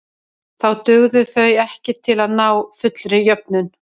Þá dugðu þau ekki til að ná fullri jöfnun.